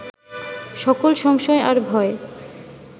সকল সংশয় আর ভয়